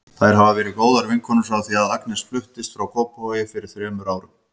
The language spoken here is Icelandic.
Þær hafa verið góðar vinkonur frá því að Agnes fluttist í Kópavog fyrir þrem árum.